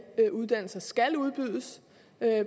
uddannelser skal udbydes